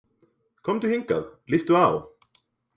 Komdu hingað, líttu á!